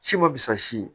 Si ma fusa si ye